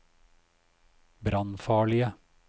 brannfarlige